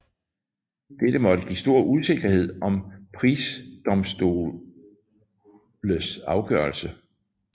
Dette måtte give stor usikkerhed om prisedomstoles afgørelse